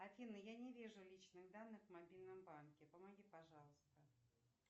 афина я не вижу личных данных в мобильном банке помоги пожалуйста